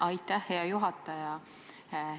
Aitäh, hea juhataja!